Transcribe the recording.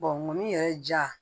ŋɔni yɛrɛ ja